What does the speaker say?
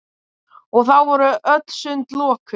Og þá voru öll sund lokuð!